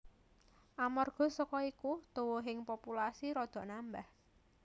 Amarga saka iku tuwuhing populasi rada nambah